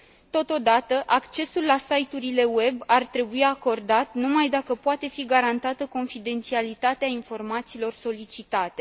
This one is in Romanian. Totodată, accesul la site urile web ar trebui acordat numai dacă poate fi garantată confidențialitatea informațiilor solicitate.